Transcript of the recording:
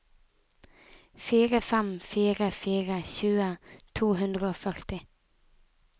fire fem fire fire tjue to hundre og førti